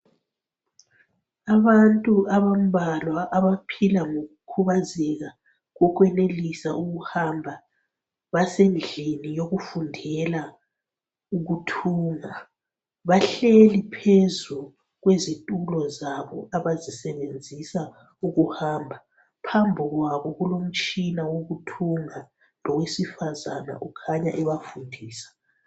Abantu ababhalwa ngokukhubezeka ,bahlezi ezindlini lapho abafundiselwa khona bezihle ezitulweni zabo, owesifazana okhanya ebafundisa ukuhamba laye uhlezi phakathi kwabo.